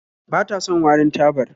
Ba ta son warin tabar